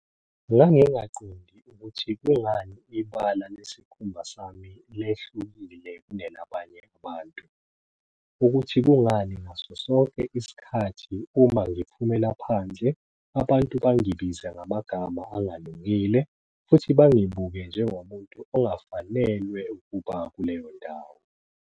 "Ngangingaqondi ukuthi kungani ibala lesikhumba sami lehlukile kunelabanye abantu, ukuthi kungani ngasosonke isikhathi uma ngiphumela phandle abantu bangibize ngamagama angalungile futhi bangibuke njengomuntu ongafanelwe ukuba kuleyo ndawo."